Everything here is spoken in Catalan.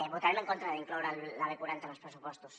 votarem en contra d’incloure la b quaranta en els pressupostos